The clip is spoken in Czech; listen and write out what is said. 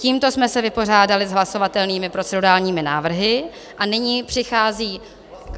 Tímto jsme se vypořádali s hlasovatelnými procedurálními návrhy a nyní přichází...